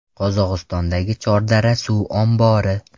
Qozog‘istondagi Chordara suv ombori.